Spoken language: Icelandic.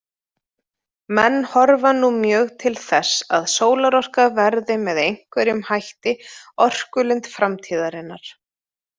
Menn horfa nú mjög til þess að sólarorka verði með einhverjum hætti orkulind framtíðarinnar.